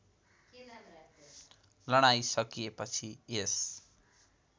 लडाईँ सकिएपछि यस